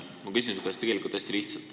Ma küsin su käest hästi lihtsalt.